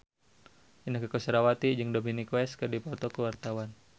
Inneke Koesherawati jeung Dominic West keur dipoto ku wartawan